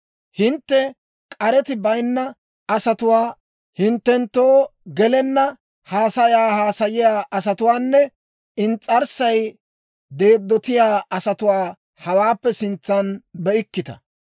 Hintte k'areti bayinna asatuwaa, hinttenttoo gelenna haasayaa haasayiyaa asatuwaanne ins's'arssay deeddotiyaa asatuwaa hawaappe sintsan be'ikkita.